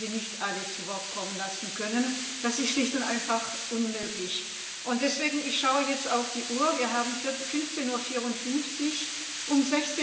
Ich werde Sie nicht alle zu Wort kommen lassen können das ist schlicht und einfach unmöglich. Deswegen schaue ich jetzt auf die Uhr Wir haben 15.54 Uhr, und um